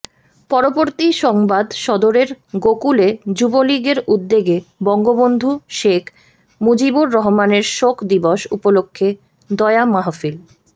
পরবর্তী সংবাদ সদরের গোকুলে যুবলীগের উদ্যেগে বঙ্গবন্ধু শেখ মুজিবুর রহমানের শোক দিবস উপলক্ষে দোয়া মাহফিল